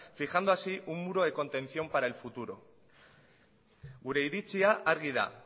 fijando así un muro de contención para el futuro gure iritzia argi da